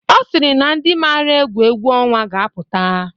Ọ sịrị na ndị mara egwu egwu ọnwa ga-apụta.